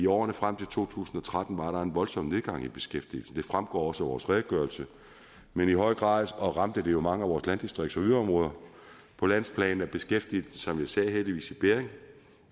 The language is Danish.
årene frem til to tusind og tretten var der en voldsom nedgang i beskæftigelsen det fremgår også af vores redegørelse men i høj grad ramte den jo mange af vores landdistrikts og yderområder på landsplan er beskæftigelsen som jeg sagde heldigvis i bedring